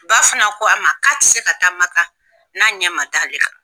Ba fana ko a ma k'a tɛ se ka taa maka n'a ɲɛ ma da ale kan.